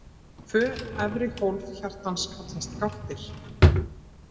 Tvö efri hólf hjartans kallast gáttir.